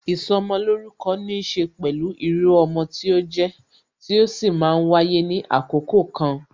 Ìsọmolórúkọ níse pẹ̀lú irú ọmọ tí ó jẹ, tí ó sì máa ń wáyé ní àkókò kan